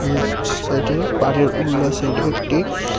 এর সা-সাইডে পাড়ের উল্লা সাইডে একটি--